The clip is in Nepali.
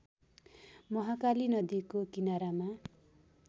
महाकाली नदीको किनारामा